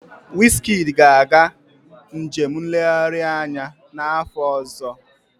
Wizkid ga-aga njem nlegharị anya n'afọ ọzọ.